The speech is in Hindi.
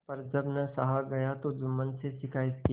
पर जब न सहा गया तब जुम्मन से शिकायत की